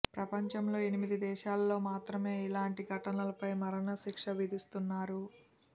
ప్రపంచంలో ఎనిమిది దేశాల్లో మాత్రమే ఇలాంటి ఘటనలపై మరణ శిక్ష విధిస్తున్నారు